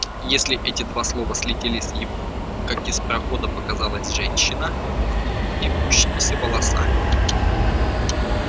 если эти слова слетели с его губ как из прохода показалась женщина с длинными вьющимися волосами